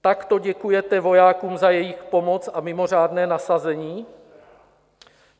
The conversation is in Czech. Takto děkujete vojákům za jejich pomoc a mimořádné nasazení?